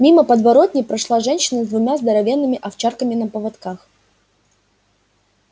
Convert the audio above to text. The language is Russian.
мимо подворотни прошла женщина с двумя здоровенными овчарками на поводках